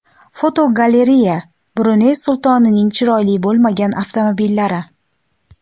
Fotogalereya: Bruney sultonining chiroyli bo‘lmagan avtomobillari.